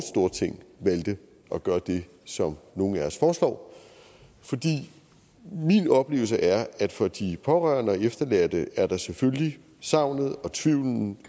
valgte at gøre det som nogle af os foreslår min oplevelse er at for de pårørende og efterladte er der selvfølgelig savnet og tvivlen